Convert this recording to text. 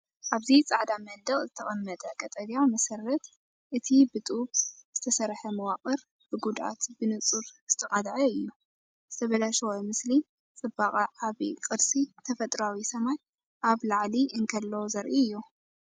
ኣብዚ ጻዕዳ መንደቕ ዝተቐመጠ ቀጠልያ መሰረት፡ እቲ ብጡብ ዝተሰርሐ መዋቕር ብጉድኣት ብንጹር ዝተቓልዐ እዩ። ዝተበላሸወ ምስሊ ጽባቐ ዓቢ ቅርሲ፡ ተፈጥሮኣዊ ሰማይ ኣብ ላዕሊ እንከሎ ዘርኢ እዩ።